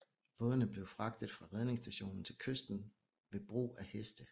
Bådene blev fragtet fra redningsstationen til kysten ved bruge af heste